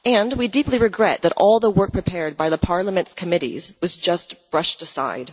We deeply regret that all the work prepared by Parliament's committees was just brushed aside.